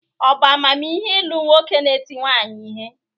Ọ̀ bu amamihe ilu nwoke nēti nwanyi ihe?